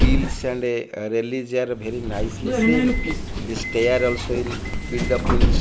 wheels and a very nicely seen the stair also in build up in --